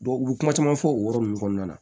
u bɛ kuma caman fɔ o yɔrɔ ninnu kɔnɔna na